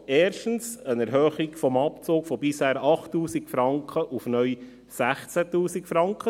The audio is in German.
Erstens, eine Erhöhung des Abzugs von bisher 8000 Franken auf neu 16 000 Franken.